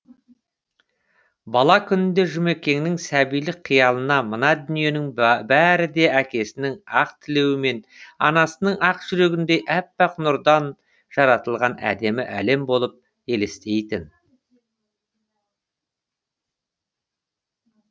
бала күнінде жұмекеннің сәбилік қиялына мына дүниенің бәрі де әкесінің ақ тілеуі мен анасының ақ жүрегіндей әппақ нұрдан жаратылған әдемі әлем болып елестейтін